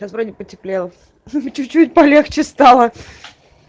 сейчас вроде потеплело ха-ха чуть-чуть полегче стало